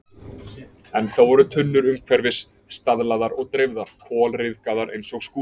Ennþá voru tunnur umhverfis, staflaðar og dreifðar, kolryðgaðar eins og skúrinn.